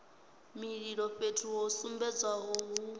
mililo fhethu ho sumbedzwaho hu